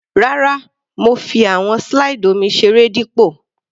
Rárá, mo fi àwọn slide omi seré dípò.